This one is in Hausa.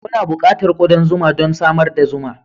Muna buƙatar kudan zuma don samar da zuma.